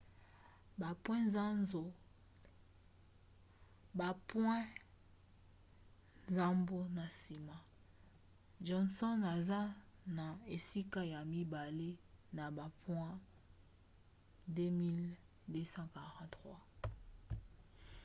bapoint nsambo na nsima johnson aza na esika ya mibale na bapoint 2 243